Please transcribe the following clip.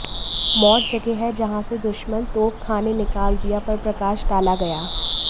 mod जगह है जहाँ से दुश्मन तोपखाने निकाल दिया पर प्रकाश डाला गया